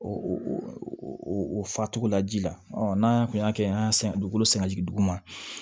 O o fasugula ji la n'an kun y'a kɛ an y'a san dugukolo sen ka jigin dugu ma